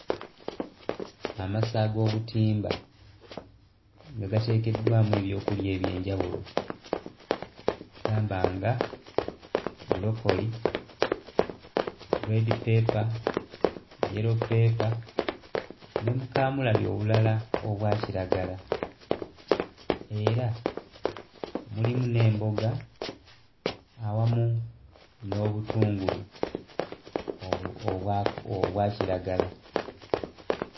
Amasa ag'obutimba nga gateekeddwamu ebyokulya eby'enjawulo gamba nga bulokoli reedi ppepa yelo peepa ne bukaamulali obulala obwa kiragala era mulimu n'emboga awamu n'obutungulu obu obwaku obwa kiragala.